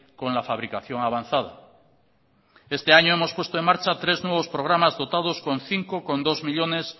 con la fabricación avanzada este año hemos puesto en marcha tres nuevos programas dotados con cinco coma dos millónes